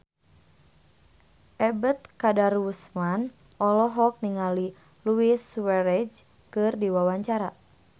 Ebet Kadarusman olohok ningali Luis Suarez keur diwawancara